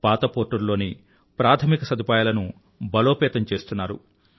పాత పోర్టుల్లోని ప్రాధమిక సదుపాయాలను బలోపేతం చేస్తున్నారు